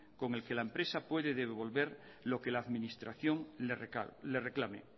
con el que la empresa puede devolver lo que la administración le reclame